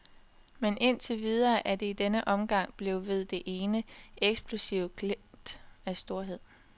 Men indtil videre er det i denne omgang blevet ved det ene, eksplosive glimt af storhed.